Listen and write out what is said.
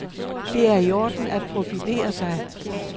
Det er i orden at profilere sig.